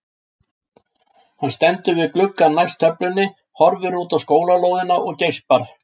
Hann stendur við gluggann næst töflunni, horfir út á skólalóðina og geispar.